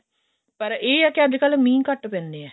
ਪਰ ਇਹ ਹੈ ਅੱਜਕਲ ਮੀਂਹ ਘਟ ਪੈਂਦੇ ਆ